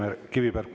Palun!